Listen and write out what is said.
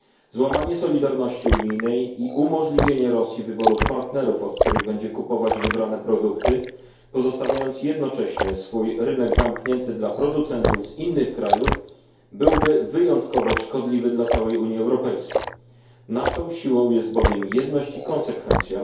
Złamanie solidarności unijnej i umożliwienie Rosji wyboru partnerów, od których będzie kupować wybrane produkty, pozostawiając jednocześnie swój rynek zamknięty dla producentów z innych krajów, byłoby wyjątkowo szkodliwe dla całej Unii Europejskiej, naszą siłą jest bowiem jedność i konsekwencja.